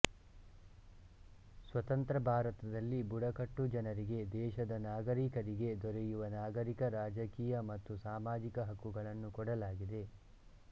ಸ್ವತಂತ್ರ ಭಾರತದಲ್ಲಿ ಬುಡಕಟ್ಟು ಜನರಿಗೆ ದೇಶದ ನಾಗರಿಕರಿಗೆ ದೊರೆಯುವ ನಾಗರಿಕ ರಾಜಕೀಯ ಮತ್ತು ಸಾಮಾಜಿಕ ಹಕ್ಕುಗಳನ್ನು ಕೊಡಲಾಗಿದೆ